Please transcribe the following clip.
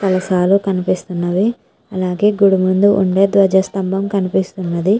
కలాసాలు కనిపిస్తున్నది. అలాగే గుడి ముందు ఉండే ధ్వజస్తంభం కనిపిస్తుంది.